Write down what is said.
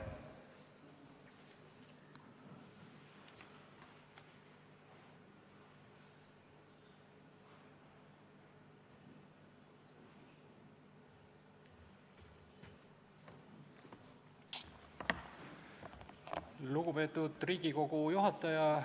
Lugupeetud Riigikogu istungi juhataja!